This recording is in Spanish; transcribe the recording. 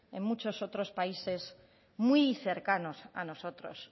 en muchos otros países muy cercanos a nosotros